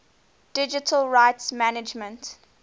digital rights management